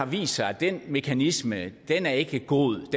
vist sig at den mekanisme er ikke god det